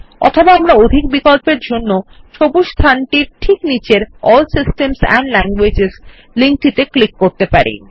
অথবা আমরা অধিক বিকল্পের জন্য সবুজ স্থানটির ঠিক নীচের ALL systems and languages link এ ক্লিক করতে পারি